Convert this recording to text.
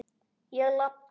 Ég labba.